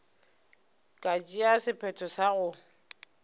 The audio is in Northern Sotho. ka tšea sephetho sa go